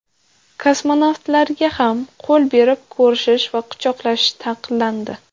Kosmonavtlarga ham qo‘l berib ko‘rishish va quchoqlashish taqiqlandi.